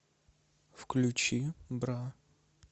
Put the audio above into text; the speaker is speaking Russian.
включи бра